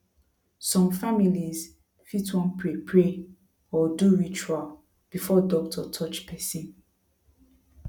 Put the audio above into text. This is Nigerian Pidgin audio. some families fit wan pray pray or do ritual before doctor touch person